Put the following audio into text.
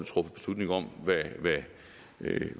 truffet beslutning om hvad